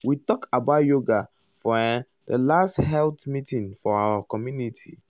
we talk about yoga for erm the last health meeting for our community.